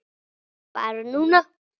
Barn núna.